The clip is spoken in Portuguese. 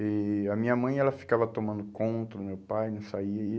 E a minha mãe, ela ficava tomando conta do meu pai, não saía.